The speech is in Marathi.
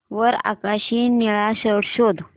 वर आकाशी निळा शर्ट शोध